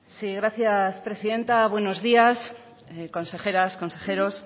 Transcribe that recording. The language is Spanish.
sí gracias presidenta buenos días consejeras consejeros